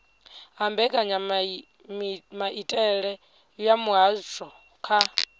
ha mbekanyamitele ya muvhuso kha